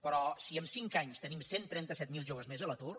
però si en cinc anys tenim cent i trenta set mil joves més a l’atur